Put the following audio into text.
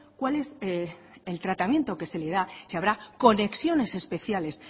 cuál es el tratamiento que se le da si habrá conexiones especiales